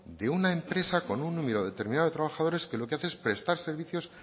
de una empresa con número determinado de trabajadores que lo que hace es prestar servicios